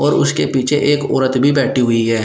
और उसके पीछे एक औरत भी बैठी हुई है।